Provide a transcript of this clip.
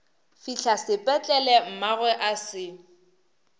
fihla sepetlele mmagwe a se